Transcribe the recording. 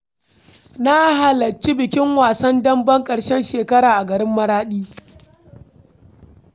Ana halartar dubban bukukuwa a garuruwan ƙasar Indiya duk shekara.